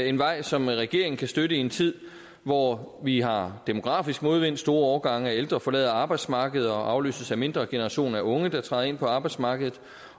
en vej som regeringen kan støtte i en tid hvor vi har demografisk modvind store årgange af ældre forlader arbejdsmarkedet og afløses af mindre generationer af unge der træder ind på arbejdsmarkedet